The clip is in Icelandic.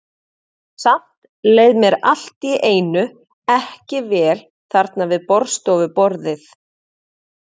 Samt leið mér allt í einu ekki vel þarna við borðstofuborðið.